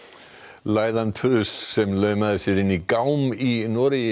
læða sem laumaði sér inn í gám í Noregi